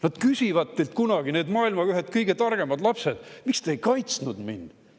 Nad küsivad teilt kunagi, need maailma ühed kõige targemad lapsed küsivad: "Miks te ei kaitsnud meid?